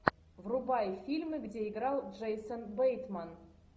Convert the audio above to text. врубай фильмы где играл джейсон бейтман